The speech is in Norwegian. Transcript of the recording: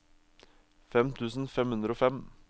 fem tusen fem hundre og fem